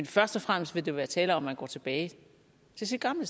først og fremmest vil der være tale om at man går tilbage til sit gamle